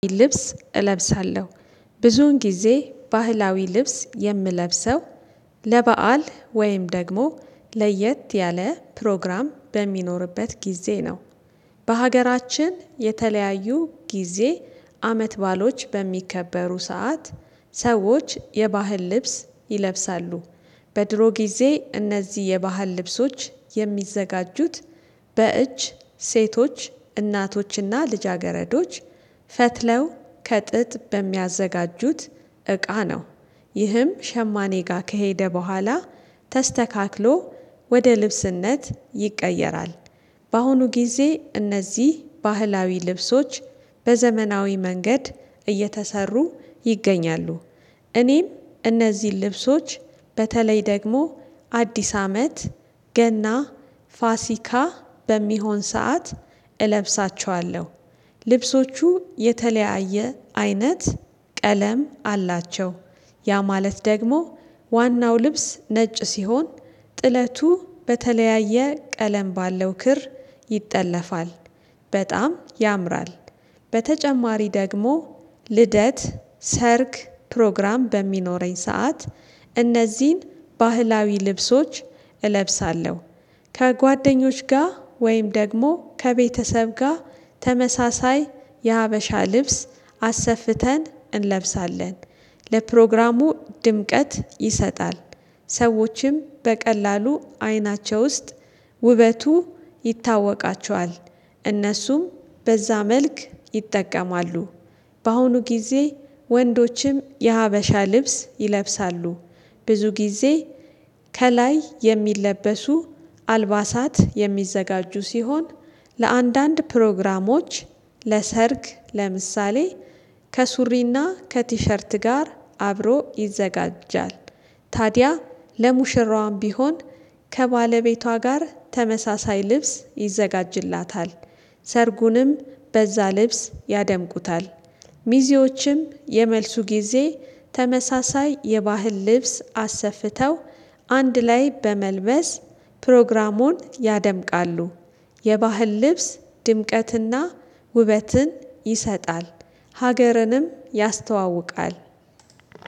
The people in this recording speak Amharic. ልብስ እለብሳለሁ ብዙን ጊዜ ባህላዊ ልብስ የምለብሰው ለበአል ወይም ደግሞ ለየት ያለ ፕሮግራም በሚኖርበት ጊዜ ነው። በሀገራችን የተለያዩ ጊዜ አመት ባሎች በሚከበሩ ሰዓት ሰዎች የባህል ልብስ ይለብሳሉ። በድሮ ጊዜ እነዚህ የባህል ልብሶች የሚዘጋጁት በእጅ ሴቶች፣ እናቶችና፣ ልጃገረዶች ፈትለው ከጥጥ በሚያዘጋጁት እቃ ነው። ይህም ሸማኔ ጋር ከሄደ በኋላ ተስተካክሎ ወደ ልብስነት ይቀየራል። በአሁኑ ጊዜ እነዚህ ባህላዊ ልብሶች በዘመናዊ መንገድ እየተሰሩ ይገኛሉ። እኔም እነዚህን ልብሶች በተለይ ደግሞ አዲስ አመት ገና ፋሲካ በሚሆን ሰዓት እለብሳቸዋለሁ። ልብሶቹ የተለያየ አይነት ቀለም አላቸው። ያ ማለት ደግሞ ዋናው ልብስ ነጭ ሲሆን ጥለቱ በተለያየ ቀለም ባለው ክር ይጠለፋል በጣም ያምራል። በተጨማሪ ደግሞ ልደት፣ ሰርግ ፕሮግራም በሚኖረኝ ሰዓት እነዚህን ባህላዊ ልብሶች እለብሳለሁ። ከጓደኞች ጋር ወይም ደግሞ ከቤተሰብ ጋር ተመሳሳይ የሀበሻ ልብስ አሰፍተን እንለብሳለን። ለፕሮግራሙ ድምቀት ይሰጣል። ሰዎችም በቀላሉ አይናቸው ውስጥ ውበቱ ይታወቃቸዋል። እነሱም በዛ መልክ ይጠቀማሉ። በአሁኑ ጊዜ ወንዶችም የሀበሻ ልብስ ይለብሳሉ። ብዙ ጊዜ ከላይ የሚለበሱ አልባሳት የሚዘጋጁ ሲሆን ለአንዳንድ ፕሮግራሞች ለሰርግ ለምሳሌ ከሱሪና ከቲሸርት ጋር አብሮ ይዘጋጃል። ታዲያ ለሙሽራዋም ቢሆን ከባለቤቷ ጋር ተመሳሳይ ልብስ ይዘጋጅላታል። ሰርጉንም በዛ ልብስ ያደምቁታል። ሚዜዎችም የመልሱ ጊዜ ተመሳሳይ የባህል ልብስ አሰፍተው፤ አንድ ላይ በመልበስ ፕሮግራሙን ያደምቃሉ። የባህል ልብስ ድምቀትና ውበትን ይሰጣል፤ ሀገርንም ያስተዋውቃል።